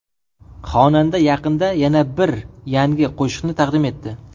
Xonanda yaqinda yana bir yangi qo‘shiqni taqdim etdi.